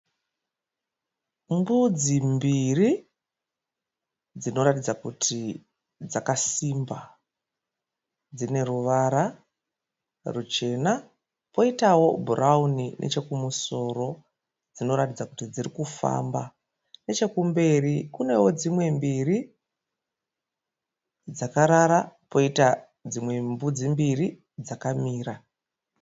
Mbudzi mbiri dzinoratidza kuti dzakasimba. Dzine ruvara ruchena kwoitawo bhurawuni nechekumusoro dzinoratidza kuti dziri kufamba. Nechekumberi kunewo dzimwe mbiri dzakarara kwoitawo dzimwe mbudzi dzakamira.